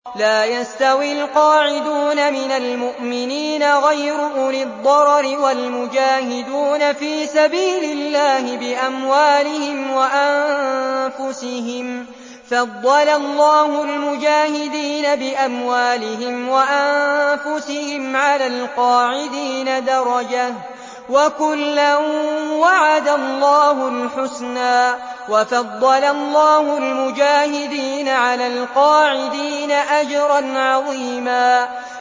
لَّا يَسْتَوِي الْقَاعِدُونَ مِنَ الْمُؤْمِنِينَ غَيْرُ أُولِي الضَّرَرِ وَالْمُجَاهِدُونَ فِي سَبِيلِ اللَّهِ بِأَمْوَالِهِمْ وَأَنفُسِهِمْ ۚ فَضَّلَ اللَّهُ الْمُجَاهِدِينَ بِأَمْوَالِهِمْ وَأَنفُسِهِمْ عَلَى الْقَاعِدِينَ دَرَجَةً ۚ وَكُلًّا وَعَدَ اللَّهُ الْحُسْنَىٰ ۚ وَفَضَّلَ اللَّهُ الْمُجَاهِدِينَ عَلَى الْقَاعِدِينَ أَجْرًا عَظِيمًا